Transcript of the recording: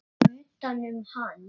Og utanum hann.